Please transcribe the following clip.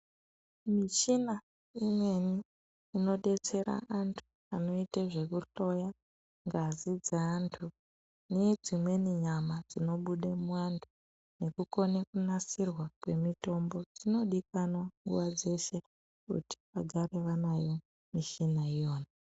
Michina imweni inodetsera antu anoite zvekuhloya ngazi dzeantu nedzimweni nyama dzinobude muantu nekukone kunasirwa kwemitombo dzinodikanwa nguva dzeshe kuti vagare vanayo mishina iyona.